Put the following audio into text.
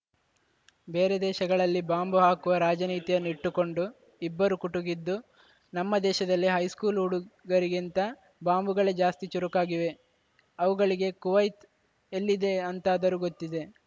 ಬೇರೆ ದೇಶಗಳಲ್ಲಿ ಬಾಂಬು ಹಾಕುವ ರಾಜನೀತಿಯನ್ನು ಇಟ್ಟುಕೊಂಡು ಇಬ್ಬರು ಕುಟುಕಿದ್ದು ನಮ್ಮ ದೇಶದಲ್ಲಿ ಹೈಸ್ಕೂಲು ಹುಡುಗರಿಗಿಂತ ಬಾಂಬುಗಳೇ ಜಾಸ್ತಿ ಚುರುಕಾಗಿವೆ ಅವುಗಳಿಗೆ ಕುವೈತ್ ಎಲ್ಲಿದೆ ಅಂತಾದರೂ ಗೊತ್ತಿದೆ